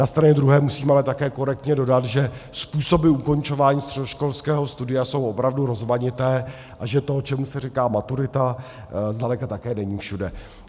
Na straně druhé musím ale také korektně dodat, že způsoby ukončování středoškolského studia jsou opravdu rozmanité a že to, čemu se říká maturita, zdaleka také není všude.